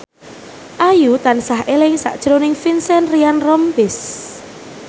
Ayu tansah eling sakjroning Vincent Ryan Rompies